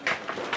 Bura gəl.